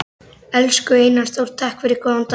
Elsku Einar Þór, takk fyrir góðan dag.